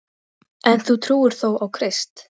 En þú trúir þó á Krist?